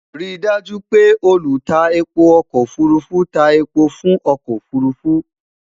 rí daaju pé olu tá èpo ọkọ òfurufú tá èpo fún ọkọ òfurufú